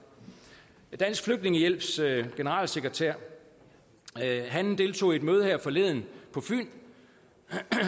dansk flygtningehjælps generalsekretær deltog i et møde her forleden på fyn